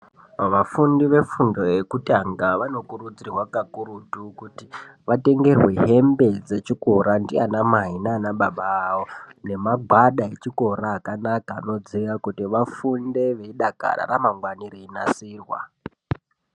Vafundi ve fundo yekutanga vano kurudzirwa kakurutu kuti vatengerwe hembe dzechikora ndiana mai nana baba avo nema gwada echikora akanaka ano dziya kuti vafunde ei dakara ramangwani rei nasirwa.